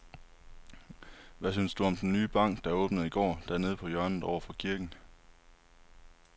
Hvad synes du om den nye bank, der åbnede i går dernede på hjørnet over for kirken?